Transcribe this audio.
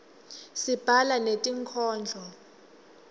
sibhala netinkhondlo